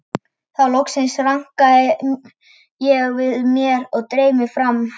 Þá loksins rankaði ég við mér og dreif mig fram.